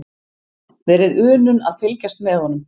Verið unun að fylgjast með honum.